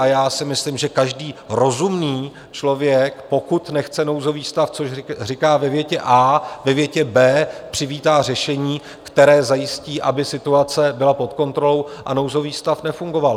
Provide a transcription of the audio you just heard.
A já si myslím, že každý rozumný člověk, pokud nechce nouzový stav, což říká ve větě A, ve větě B přivítá řešení, které zajistí, aby situace byla pod kontrolou a nouzový stav nefungoval.